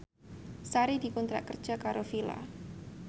Sari dikontrak kerja karo Fila